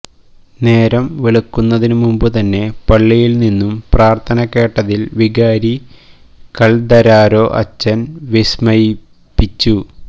നേരം വെളുക്കുന്നതിനുമുമ്പുതന്നെ പള്ളിയിൽനി ന്നും പ്രാർത്ഥന കേട്ടതിൽ വികാരി കൽദരാരോ അച്ചൻ വിസ്മയിപ്പിച്ചു